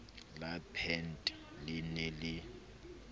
la peete le ne le